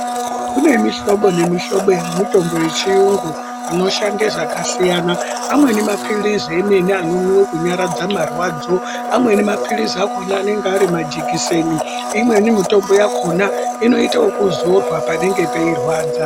Kune mihlobo nemihlobo yemitombo yechiyungu inoshande zvakasiyana, amweni mapilizi emene anomwiwe kunyaradze marwadzo, amweni mapilizi akona anenge ari majekiseni, imweni mitombo yakona inoitweye kuzorwa panenge peirwadza.